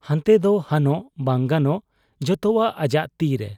ᱦᱟᱱᱛᱮᱫᱚ ᱦᱟᱱᱚᱜ ᱵᱟᱝ ᱜᱟᱱᱚᱜ ᱡᱚᱛᱚᱣᱟᱜ ᱟᱡᱟᱜ ᱛᱤᱨᱮ ᱾